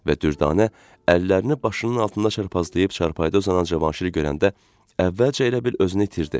Və Dürdanə əllərini başının altında çarpazlayıb çarpayda uzanan Cavanşiri görəndə əvvəlcə elə bil özünü itirdi.